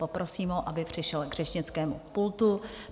Poprosím ho, aby přišel k řečnickému pultu.